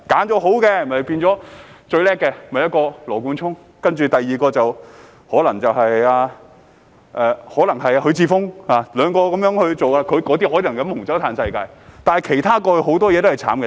當中最棒的是羅冠聰，第二個可能是許智峯，兩個被選中的可能可以喝紅酒、"嘆世界"，但其他人到了外國大都是可憐的。